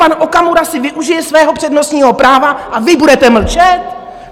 Pan Okamura si využije svého přednostního práva a vy budete mlčet?